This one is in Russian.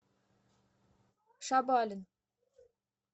шабалин